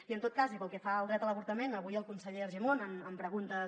i en tot cas i pel que fa al dret a l’avortament avui el conseller argimon en preguntes